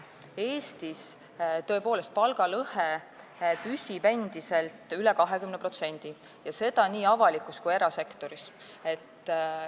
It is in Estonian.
Eestis püsib palgalõhe tõepoolest endiselt üle 20% ja seda nii avalikus kui ka erasektoris.